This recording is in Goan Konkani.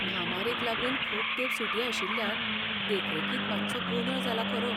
म्हामारीक लागून खूब तेंप सुटी आशिल्ल्यान देखरेखींत मात्सो गोंदळ जाला खरो.